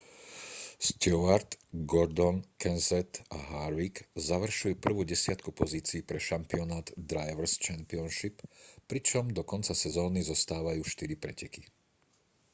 stewart gordon kenseth a harvick završujú prvú desiatku pozícií pre šampionát drivers' championship pričom do konca sezóny zostávajú štyri preteky